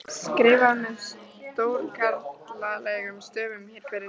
skrifað með stórkarlalegum stöfum fyrir neðan.